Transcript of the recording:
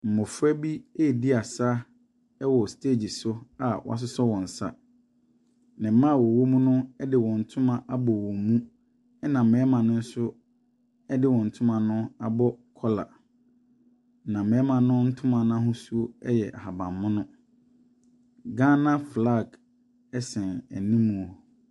Mmofra redi asa asa wɔ stage so wɔasosɔ nsa. Mmaa a wɔwɔ mu no de wɔn ntoma abɔ wɔn mu. Na mmarima no nso ɛde wɔn ntoma no abɔ kɔla. Na mmarima no ntoma no ahosu yɛ ahanmono. Ghana flag sɛn anim.